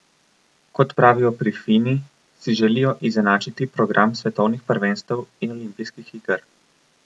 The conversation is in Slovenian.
Kot pravijo pri Fini, si želijo izenačiti program svetovnih prvenstev in olimpijskih iger.